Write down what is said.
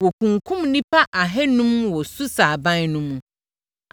Wɔkunkumm nnipa ahanum wɔ Susa aban no mu.